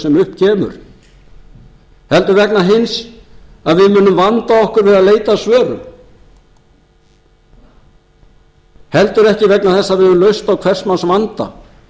sem upp kemur heldur vegna hins að við munum vanda okkur við leit að svörum heldur ekki vegna þess að við höfum lausn á hvers manns vanda